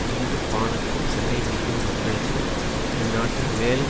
துண்டு பாணுக்கு சண்டை பிடிக்கும் மக்களுக்கு இந் நாட்டில் மேலும்